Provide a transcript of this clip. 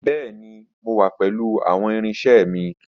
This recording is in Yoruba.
Bẹẹni, Mo wa pẹlu awọn irinṣẹ mi.